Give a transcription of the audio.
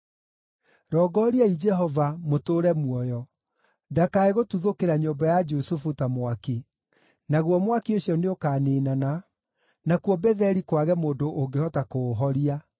Rongoriai Jehova, mũtũũre muoyo, ndakae gũtuthũkĩra nyũmba ya Jusufu ta mwaki; naguo mwaki ũcio nĩũkaniinana, nakuo Betheli kwage mũndũ ũngĩhota kũũhoria.